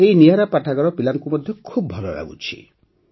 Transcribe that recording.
ଏହି ନିଆରା ପାଠାଗାର ପିଲାଙ୍କୁ ମଧ୍ୟ ଖୁବ୍ ଭଲ ଲାଗୁଛି